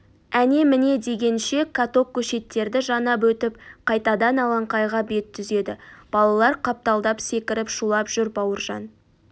әне-міне дегенше каток көшеттерді жанап өтіп қайтадан алаңқайға бет түзеді балалар қапталдап секіріп шулап жүр бауыржан